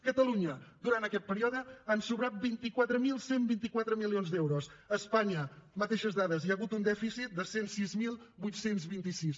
a catalunya durant aquest període han sobrat vint quatre mil cent i vint quatre milions d’euros a espanya mateixes dades n’hi ha hagut un dèficit de cent i sis mil vuit cents i vint sis